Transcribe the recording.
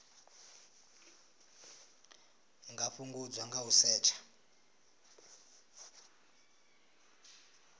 nga fhungudzwa nga u setsha